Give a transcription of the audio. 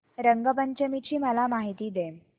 रंग पंचमी ची मला माहिती दे